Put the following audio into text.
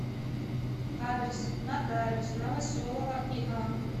адрес нотариус новоселова иа